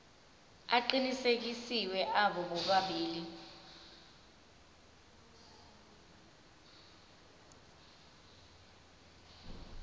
aqinisekisiwe abo bobabili